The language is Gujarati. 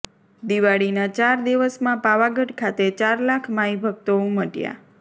દિવાળીના ચાર દિવસમાં પાવાગઢ ખાતે ચાર લાખ માઇ ભક્તો ઊમટયાં